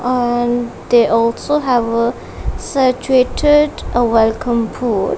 and they also have a saturated a welcome pool.